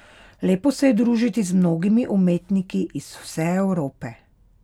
Lepo se je družiti z mnogimi umetniki iz vse Evrope.